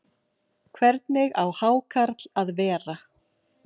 Hvernig á hákarl að vera?